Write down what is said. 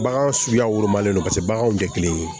Bagan suguyaw wolomalen don paseke baganw tɛ kelen ye